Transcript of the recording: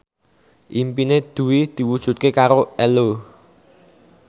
impine Dwi diwujudke karo Ello